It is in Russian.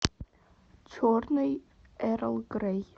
черный эрл грей